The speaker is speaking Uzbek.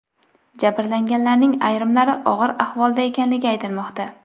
Jabrlanganlarning ayrimlari og‘ir ahvolda ekanligi aytilmoqda.